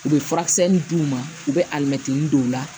U bɛ furakisɛnin d'u ma u bɛ alimɛtinin dɔw la